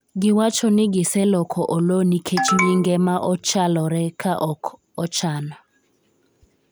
giwacho ni giseloko Oloo nikech nyinge ma ochalore ka ok ochan